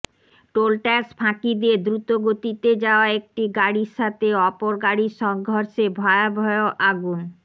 toll tax ফাঁকি দিয়ে দ্রুত গতিতে যাওয়া একটি গাড়ির সাথে অপর গাড়ির সংঘর্ষে ভয়াবহ আগুন